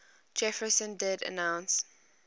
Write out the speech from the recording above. jefferson did denounce